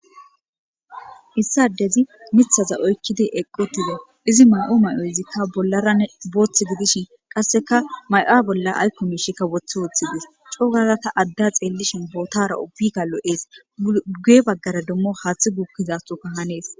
Issadezi mithaza oykkidi eqqotida izi ma7o may7o izikka bollaran boothth gidishin qasseka may7a bolla aykkomishikka wothe wooththi dis coo gaarata adda xeellishin bootara obika lo7ees uuge baggara dummo haaththi gukkizasoka hanees.